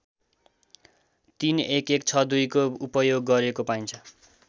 ३११६२को उपयोग गरेको पाइन्छ